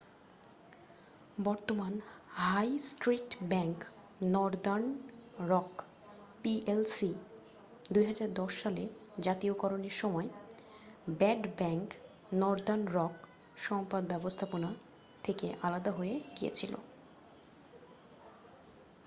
বর্তমান high street bank Northern Rock PLC ২০১০ সালে জাতীয়করণের সময় 'ব্যাড ব্যাংক' নর্দার্ন রক সম্পদ ব্যবস্থাপনা থেকে আলাদা হয়ে গিয়েছিল।